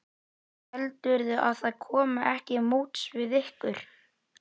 Heldurðu að það komi ekki móts við ykkur?